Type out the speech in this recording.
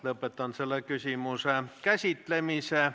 Lõpetan selle küsimuse käsitlemise.